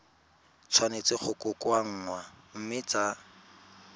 tshwanetse go kokoanngwa mme tsa